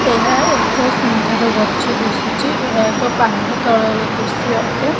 ଏହା ଏକ ସୁନ୍ଦର ଗଛ ଦିଶୁଚି ଏହା ଏକ ପାହାଡ ତଳର ଦୃଶ୍ୟ ଅଟେ।